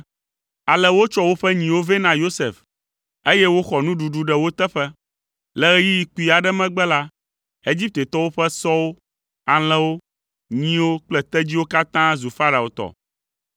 Ale wotsɔ woƒe nyiwo vɛ na Yosef, eye woxɔ nuɖuɖu ɖe wo teƒe. Le ɣeyiɣi kpui aɖe megbe la, Egiptetɔwo ƒe sɔwo, alẽwo, nyiwo kple tedziwo katã zu Farao tɔ.